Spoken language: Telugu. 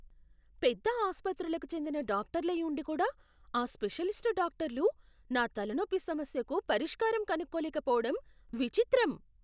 పెద్ద ఆసుపత్రులకు చెందిన డాక్టర్లై ఉండి కూడా ఆ స్పెషలిస్ట్ డాక్టర్లు నా తలనొప్పి సమస్యకు పరిష్కారం కనుక్కోలేకపోవడం విచిత్రం.